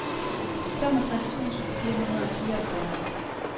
femogtres tusind fire hundrede og fireogfyrre